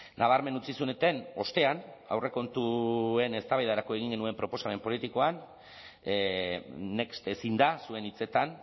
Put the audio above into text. nabarmen utzi zenuten ostean aurrekontuen eztabaidarako egin genuen proposamen politikoan next ezin da zuen hitzetan